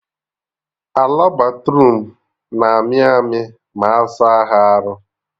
Ala Bathroom na-amị amị ma asa ha arụ